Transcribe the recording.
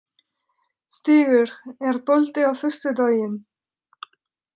Stígur, er bolti á föstudaginn?